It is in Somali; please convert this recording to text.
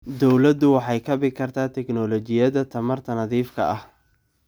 Dawladdu waxay kabi kartaa tignoolajiyada tamarta nadiifka ah.